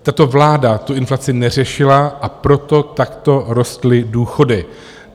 Tato vláda tu inflaci neřešila, a proto takto rostly důchody.